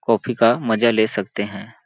Coffee का मजा ले सकते हैं।